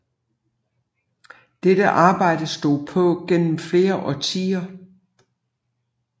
Dette arbejde stod på gennem flere årtier